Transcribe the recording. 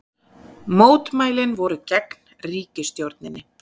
Mótmælin voru gegn ríkisstjórninni